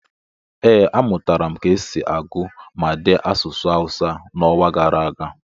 ee, amụtara m ka esi agụ ma dee asụsụ Awụsa n'ọnwa gara aga